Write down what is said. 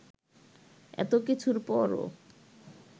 এতকিছুর পরও